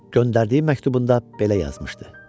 Göndərdiyi məktubunda belə yazmışdı: